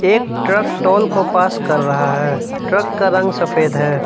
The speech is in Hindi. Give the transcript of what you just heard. एक ट्रक टोल को पास कर रहा है ट्रक का रंग सफेद है।